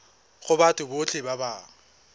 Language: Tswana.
go batho botlhe ba ba